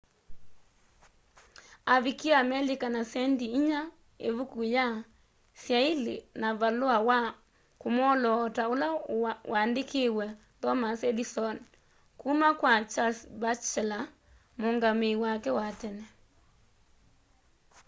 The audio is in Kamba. avikie amelika na sendi inya ivuku ya syaili na valua wa kumwoloota ula waandikiwe thomas edison kuma kwa charles batchelor muungamii wake wa tene